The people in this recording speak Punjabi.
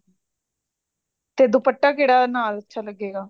ਤੇ ਦੁਪੱਟਾ ਕਿਹੜਾ ਨਾਲ ਅੱਛਾ ਲੱਗੇਗਾ